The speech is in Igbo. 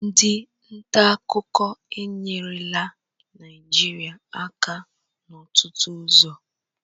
Ndị nta akụkọ enyerela Naịjirịa aka n'ọtụtụ ụzọ